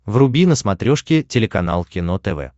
вруби на смотрешке телеканал кино тв